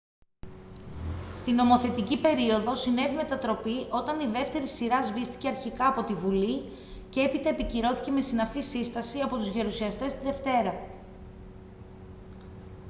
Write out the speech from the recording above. στη νομοθετική περίοδο συνέβη μετατροπή όταν η δεύτερη σειρά σβήστηκε αρχικά από τη bουλή και έπειτα επικυρώθηκε με συναφή σύσταση από τους γερουσιαστές τη δευτέρα